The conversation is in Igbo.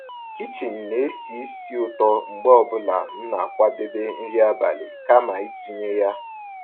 kichin ná-èsì ísí ụ̀tọ́ mgbe ọ́ bụ́là m ná-àkwàdébé nrí àbálị́ kàma ị̀tụ́nyé yá.